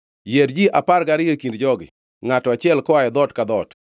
“Yier ji apar gariyo e kind jogi, ngʼato achiel koa e dhoot ka dhoot,